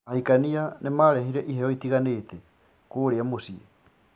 Ahikania nĩmarehire iheyo itigaine kũrĩ mũciĩ ?